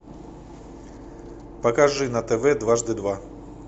покажи на тв дважды два